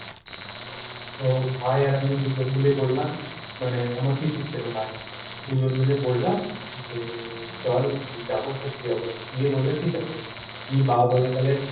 তো ভাই আর আমি দুজন মিলেই বললাম। মানে আমার পিসির ছেড়ে ভাই। দুজন মিলেই বললাম যে, চল যাব ঘুরতে যাব। গিয়ে বলল ঠিক আছে, নিয়ে বাবা বলল তালে,